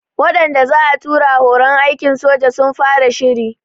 Waɗanda za'a tura horon aikin soja sun fara shiri